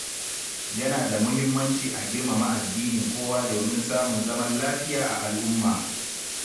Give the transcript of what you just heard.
Yana da muhimmanci a girmama addinin kowa domin samun zaman lafiya a al’umma.